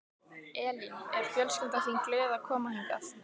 Elín: Er fjölskyldan þín glöð að koma hingað?